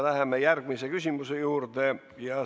Läheme järgmise küsimuse juurde.